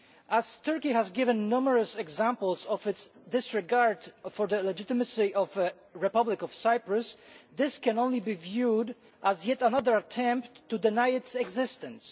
As Turkey has given numerous examples of its disregard for the legitimacy of the Republic of Cyprus, this can only be viewed as yet another attempt to deny its existence.